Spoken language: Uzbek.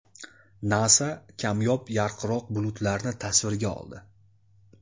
NASA kamyob yarqiroq bulutlarni tasvirga oldi.